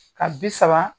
Ka bi saba